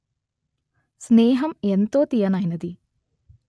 స్నేహం ఎంతో తియ్యనైనది